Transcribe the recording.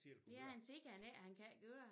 Ja han siger ikke han kan ikke køre